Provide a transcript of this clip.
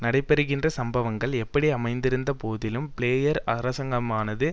நடைபெறுகின்ற சம்பவங்கள் எப்படி அமைந்திருந்த போதிலும் பிளேயர் அரசாங்கமானது